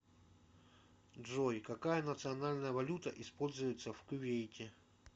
джой какая национальная валюта используется в кувейте